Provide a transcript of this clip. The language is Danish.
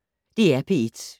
DR P1